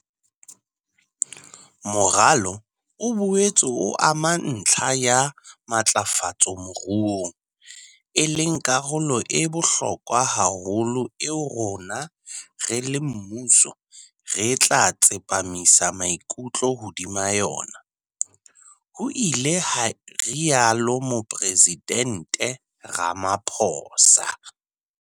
"Moralo o boetse o ama ntlha ya matlafatso moruong, e leng karolo e bohlokwa haholo eo rona, re le mmuso, re tla tsepamisa maikutlo hodima yona," ho ile ha rialo Mopresidente Ramaphosa.